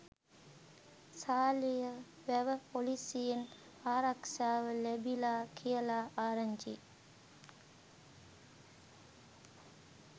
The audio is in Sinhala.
සාලියවැව පොලීසියෙන් ආරක්ෂාව ලැබිලා කියලා ආරංචියි.